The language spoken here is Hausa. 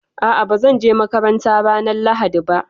A'a, ba zan je makaranta ranar Lahadi ba